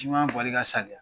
Jiman bɔli ka saliya